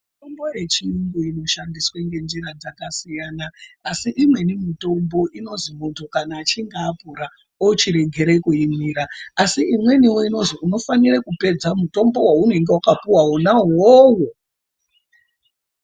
Mitombo yechiyungu inoshandiswe ngenjira dzakasiyana ,asi imweni mitombo inozwi muntu achinge akura ochiregera kuimira asi imweniwo inozwi unofanire kupedza mutombowo waunenge wakapuwa wona uwowo.